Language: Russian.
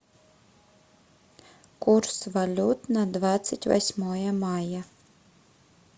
курс валют на двадцать восьмое мая